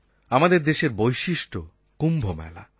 আমাদের দেশের বৈশিষ্ট্য কুম্ভমেলা